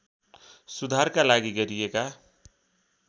सुधारका लागि गरिएका